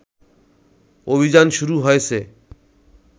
অভিযান শুরু হয়েছে